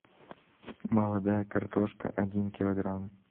молодая картошка один килограмм